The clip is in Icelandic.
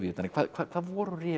hvað voru